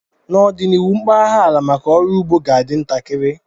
N'ọdịnihu, mpaghara ala maka ọrụ ugbo ga-adị ntakịrị